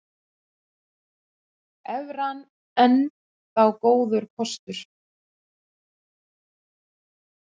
Evran enn þá góður kostur